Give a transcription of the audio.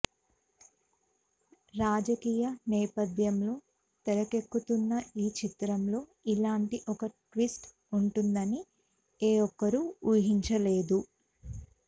రాజకీయ నేపథ్యంలో తెరకెక్కుతున్న ఈ చిత్రంలో ఇలాంటి ఒక ట్విస్ట్ ఉంటుందని ఏ ఒక్కరు ఊహించలేదు